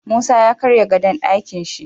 Musa ya karya gadon Ɗakinshi